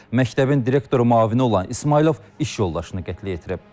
Məktəbin direktoru müavini olan İsmayılov iş yoldaşını qətlə yetirib.